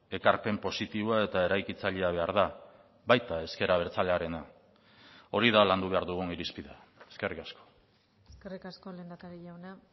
ekarpen positiboa eta eraikitzailea behar da baita ezker abertzalearena hori da landu behar dugun irizpidea eskerrik asko eskerrik asko lehendakari jauna